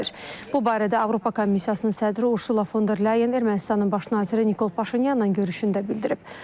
Bu barədə Avropa Komissiyasının sədri Ursula von der Leyen Ermənistanın baş naziri Nikol Paşinyanla görüşündə bildirib.